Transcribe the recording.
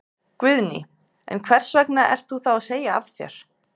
Guðný: En hvers vegna ert þú þá að segja af þér?